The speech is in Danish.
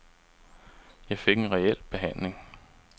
Jeg fik en reel behandling.